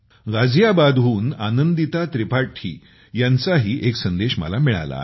गाझियाबादहून आनंदिता त्रिपाठी यांचाही एक संदेश मला मिळाला आहे